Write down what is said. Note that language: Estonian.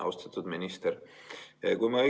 Austatud minister!